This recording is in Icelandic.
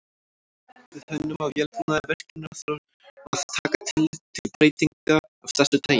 Við hönnun á vélbúnaði virkjunar þarf að taka tillit til breytinga af þessu tagi.